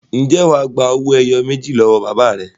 Ǹjẹ́ wà á gba owó ẹyọ méjì lọ́wọ́ bàbá rẹ?